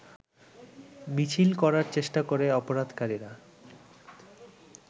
মিছিল করার চেষ্টা করে অবরোধকারীর